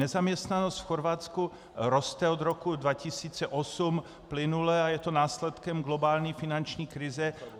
Nezaměstnanost v Chorvatsku roste od roku 2008 plynule a je to následkem globální finanční krize.